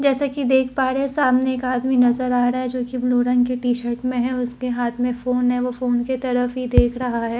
जैसे कि देख पा रहे हैं सामने का आदमी नजर आ रहा है जो कि ब्लू रंग के टी शर्ट में है और उसके हाथ में फोन है और वह फोन की तरफ ही देख रहा हैं --